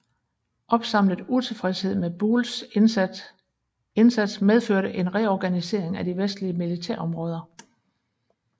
Opsamlet utilfredshed med Buells indsats medførte en reorganisering af de vestlige militærområder